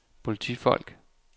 politifolk